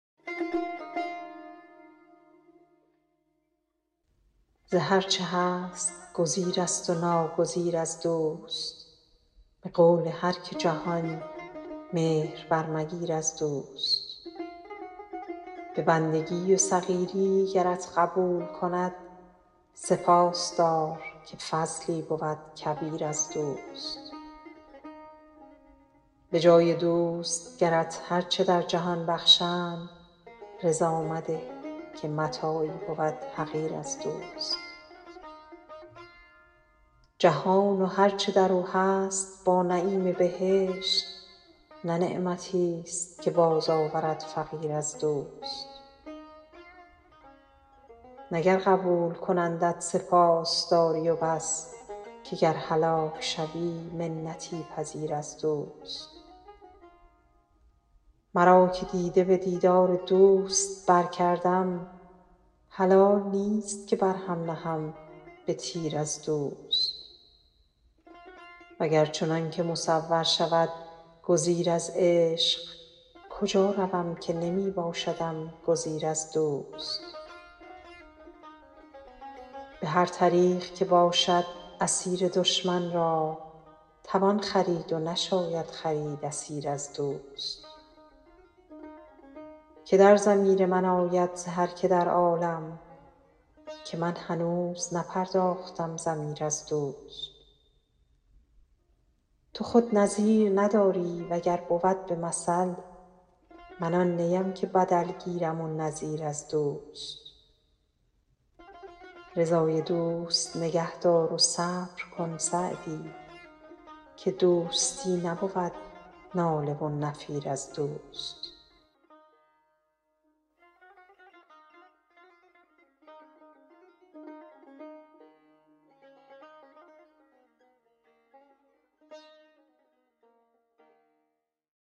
ز هر چه هست گزیرست و ناگزیر از دوست به قول هر که جهان مهر برمگیر از دوست به بندگی و صغیری گرت قبول کند سپاس دار که فضلی بود کبیر از دوست به جای دوست گرت هر چه در جهان بخشند رضا مده که متاعی بود حقیر از دوست جهان و هر چه در او هست با نعیم بهشت نه نعمتیست که بازآورد فقیر از دوست نه گر قبول کنندت سپاس داری و بس که گر هلاک شوی منتی پذیر از دوست مرا که دیده به دیدار دوست برکردم حلال نیست که بر هم نهم به تیر از دوست و گر چنان که مصور شود گزیر از عشق کجا روم که نمی باشدم گزیر از دوست به هر طریق که باشد اسیر دشمن را توان خرید و نشاید خرید اسیر از دوست که در ضمیر من آید ز هر که در عالم که من هنوز نپرداختم ضمیر از دوست تو خود نظیر نداری و گر بود به مثل من آن نیم که بدل گیرم و نظیر از دوست رضای دوست نگه دار و صبر کن سعدی که دوستی نبود ناله و نفیر از دوست